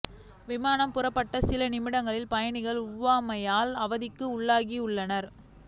விமானம் புறப்பட்ட சில நிமிடங்களில் பயணிகள் ஒவ்வாமையால் அவதிக்கு உள்ளாகியுள்ளனர்